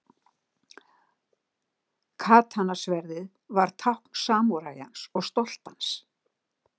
Katana-sverðið var tákn samúræjans og stolt hans.